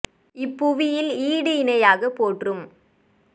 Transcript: இப்புவியில் ஈடுயிணை யாகப் போற்றும்